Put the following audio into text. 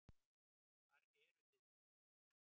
Hvar eru þið nú?